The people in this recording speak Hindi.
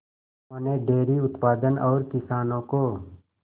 उन्होंने डेयरी उत्पादन और किसानों को